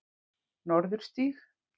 Norðurstíg